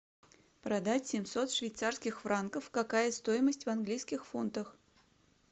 продать семьсот швейцарских франков какая стоимость в английских фунтах